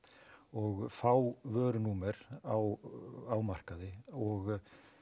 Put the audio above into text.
og fá vörunúmer á markaði og